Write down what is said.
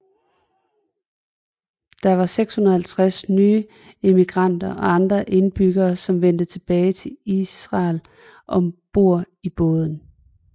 Der var 650 nye immigranter og andre indbyggere som vendte tilbage til Israel om bord i båden